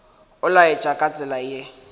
o laela ka tsela ye